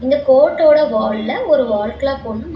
இந்த கோர்ட்டோட வால்ல ஒரு வால் கிளாக் ஒன்னு மா--